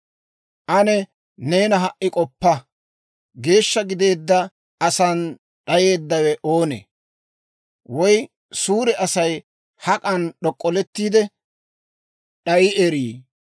«Ane neeni ha"i k'oppa: geeshsha gideedda asan d'ayeeddawe oonee? Woy suure Asay hak'an d'ok'ollettiide d'ayi erii?